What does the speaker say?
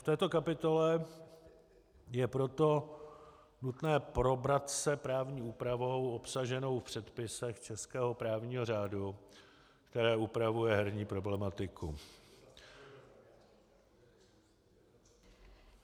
V této kapitole je proto nutné probrat se právní úpravou obsaženou v předpisech českého právního řádu, která upravuje herní problematiku...